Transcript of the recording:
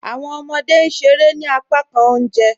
Awọn ọmọde n ṣèrè ní àpákàn ọ̀unjẹ